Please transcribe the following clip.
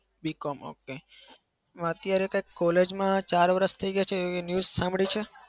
B. com okay અત્યારે કંઈક college માં ચાર વરસ થઇ ગયા છે એવી news સાંભળી છે?